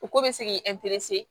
U ko bɛ se k'i